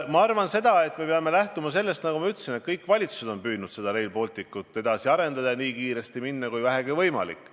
Ma arvan, et me peame lähtuma sellest, nagu ma ütlesin, et kõik valitsused on püüdnud Rail Balticut edasi arendada ja nii kiiresti tegutseda, kui vähegi võimalik.